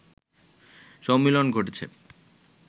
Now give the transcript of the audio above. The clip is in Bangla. সম্মিলন ঘটেছে